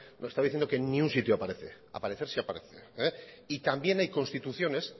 estaba diciendo que en ningún sitio aparece aparecer sí aparece y también hay constituciones